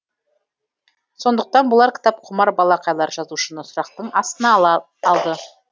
сондықтан болар кітапқұмар балақайлар жазушыны сұрақтың астына алды